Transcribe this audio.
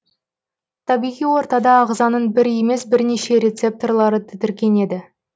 табиғи ортада ағзаның бір емес бірнеше рецепторлары тітіркенеді